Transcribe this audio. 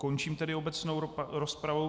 Končím tedy obecnou rozpravu.